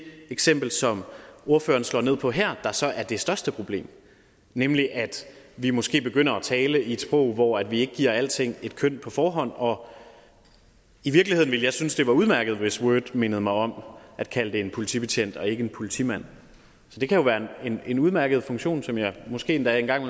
eksempel som ordføreren slår ned på her der så er det største problem nemlig at vi måske begynder at tale i et sprog hvor vi ikke giver alting et køn på forhånd og i virkeligheden ville jeg synes det var udmærket hvis word mindede mig om at kalde det en politibetjent og ikke en politimand det kan jo være en udmærket funktion som jeg måske endda engang